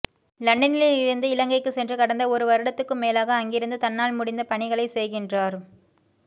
இலண்டனில் இருந்து இலங்கைக்கு சென்று கடந்த ஒரு வருடத்துக்கும் மேலாக அங்கிருந்து தன்னால் முடிந்த பணிகளைச்செய்கின்றார்